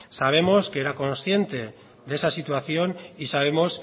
sabemos que era consciente de esa situación y sabemos